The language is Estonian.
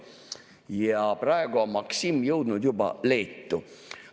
Ja praegu on Maksim jõudnud juba Leetu.